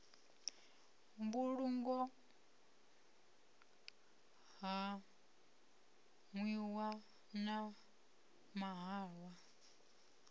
mbulungo ha nwiwa na mahalwa